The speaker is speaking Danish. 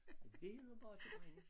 Det hedder borkjebrænde